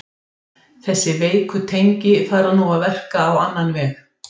Þessi veiku tengi fara nú að verka á annan veg.